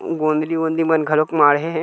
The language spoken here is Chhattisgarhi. गोंदली वोंदली मन घलोक माढ़े हे।